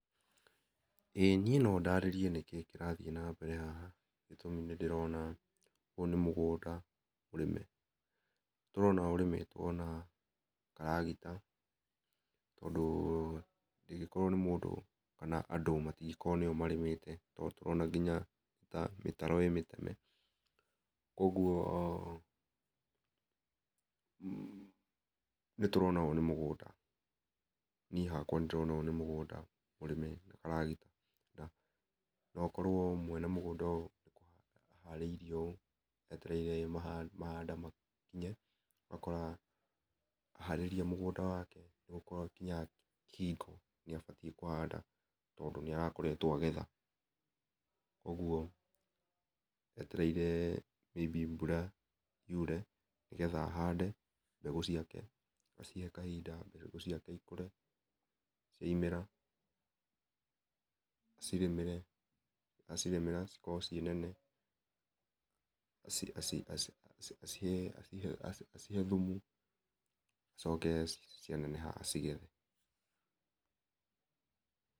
ĩĩ niĩ no ndarĩrie nĩkĩĩ kĩrathiĩ na mbere haha nĩ ndĩrona ũyũ nĩ mũgũnda mũrĩme nĩ ndĩrona ũrĩmĩtwo na karagita ,tondũ ndĩngĩkorwo nĩ mũndũ kana andũ matingĩkorwo nĩo marĩmite tondũ nĩtũrona nginya mitaro ĩ mĩteme kwoguo, nĩ tũrona ũyũ nĩ mũgũnda niĩ hakwa nĩ ndĩrona ũyũ nĩ mũgũnda mũrĩme na karagita no ũkorwo mũene mũgũnda ũyũ aharĩirie ũũ etereire mahanda makinye ,ũgakora aharĩria mũgũnda wake ũgakora nĩ hakinyaga hingo nĩ abatiĩ kũhanda tondũ nĩ arakoretwo agetha ũguo etereire may be mbura yure nĩgetha ahande mbegũ ciake acihe kahinda mbegũ ciake ikũre ciaũmĩra acirĩmĩre acirĩmĩra cikorwo ci ĩ nene aci acihe thũmũ acoke cianeneha acigethe.